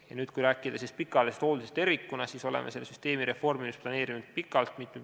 Ja kui rääkida pikaajaliselt hooldusest tervikuna, siis oleme selle süsteemi reformimist planeerinud pikalt.